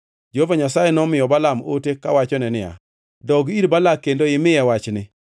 Jehova Nyasaye nomiyo Balaam ote kowachone niya, “Dog ir Balak kendo imiye wachni.”